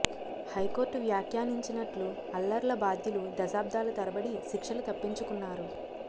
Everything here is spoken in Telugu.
హైకోర్టు వ్యాఖ్యా నించినట్లు అల్లర్ల బాధ్యులు దశాబ్దాల తరబడి శిక్షలు తప్పించుకున్నారు